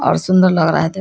और सुंदर लग रहा है देख --